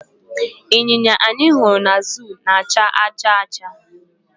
Ịnyịnya anyị hụrụ na zoo na acha ájá ájá